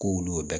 K'olu y'o